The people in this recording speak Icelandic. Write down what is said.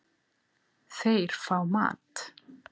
Þeir fá mat.